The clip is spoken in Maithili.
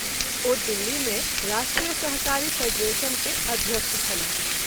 ओ दिल्ली मे राष्ट्रीय सहकारी फ़ेडरेशन के अध्यक्ष छलाह।